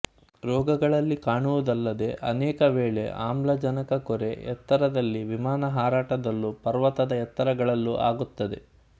ರೋಗಗಳಲ್ಲಿ ಕಾಣುವುದಲ್ಲದೆ ಅನೇಕ ವೇಳೆ ಆಮ್ಲಜನಕಕೊರೆ ಎತ್ತರದಲ್ಲಿ ವಿಮಾನ ಹಾರಾಟದಲ್ಲೂ ಪರ್ವತದ ಎತ್ತರಗಳಲ್ಲೂ ಆಗುತ್ತದೆ